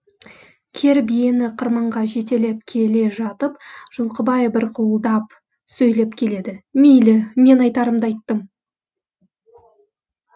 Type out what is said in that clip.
кер биені қырманға жетелеп келе жатып жылқыбай бырқылдап сөйлеп келеді мейлі мен айтарымды айттым